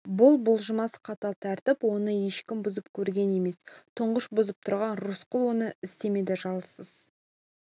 бұл бұлжымас қатал тәртіп оны ешкім бұзып көрген емес тұңғыш бұзып тұрған рысқұл оны істемеді жалсыз